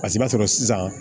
Paseke i b'a sɔrɔ sisan